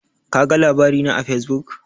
Kaga labari na a Fesbuk?